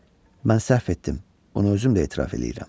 Mən səhv etdim, bunu özüm də etiraf eləyirəm.